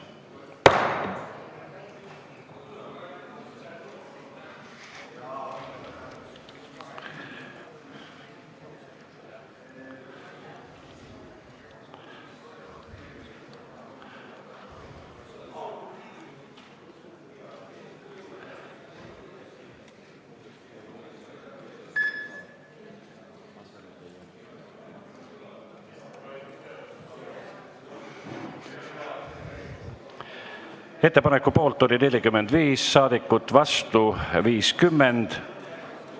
Hääletustulemused Ettepaneku poolt oli 45 ja vastu 50 saadikut.